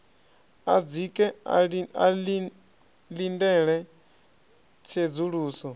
a dzike a ḽindele tsedzuluso